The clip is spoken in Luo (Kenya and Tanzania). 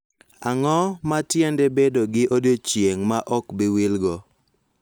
Ang�o ma tiende bedo gi odiechieng� ma ok bi wilgo?